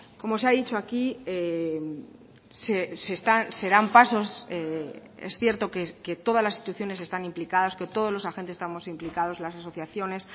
como se ha dicho aquí se dan pasos es cierto que todas las instituciones están implicadas que todos los agentes estamos implicados las asociaciones